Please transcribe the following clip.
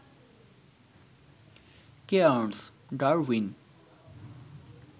Cairns, Darwin